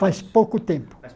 Faz pouco tempo